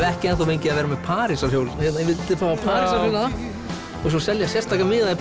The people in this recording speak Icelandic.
ekki enn fengið að vera með Parísarhjól hérna ég vildi hafa Parísarhjól hérna og svo selja sérstaka miða í